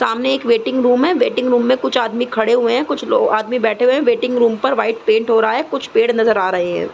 सामने एक waiting room है। वेटिंग रूम में कुछ आदमी खड़े हुए हैं। कुछ लो आदमी बैठे हुए हैं। वेटिंग रूम पर व्हाइट पेंट हो रहा है। कुछ पेड़ नज़र आ रहे हैं।